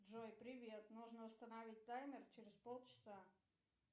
джой привет нужно установить таймер через полчаса